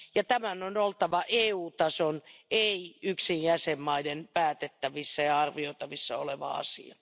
Tämän on oltava EU tason, ei yksin jäsenmaiden, päätettävissä ja arvioitavissa oleva asia.